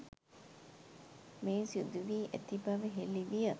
මෙය සිදුවී ඇති බව හෙළි විය.